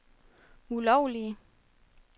ulovlige